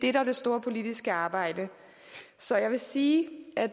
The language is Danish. er det store politiske arbejde så jeg vil sige at